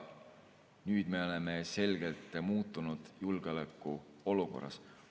Nüüd me oleme selgelt muutunud julgeolekuolukorras.